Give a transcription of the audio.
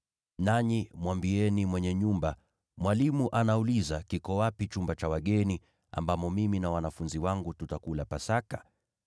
Nanyi mwambieni mwenye nyumba, ‘Mwalimu anauliza: Kiko wapi chumba cha wageni, ambamo mimi na wanafunzi wangu tutakula Pasaka?’